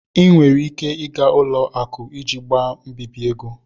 Ị nwere ike ịga ụlọakụ iji gbaa mbibi ego.